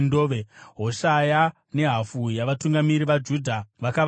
Hoshaya nehafu yavatungamiri vaJudha vakavatevera,